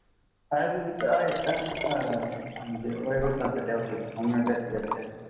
आयुर्वेदिक आहेत का म्हणजे वयोवृध्दांसाठी औषधे homeopathic पेक्षा